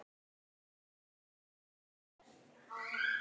Þín og afa.